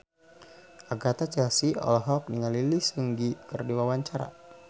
Agatha Chelsea olohok ningali Lee Seung Gi keur diwawancara